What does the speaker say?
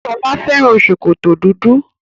Sola fẹ́ràn ṣòkòtò dúdú.